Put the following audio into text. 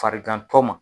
Farigantɔ ma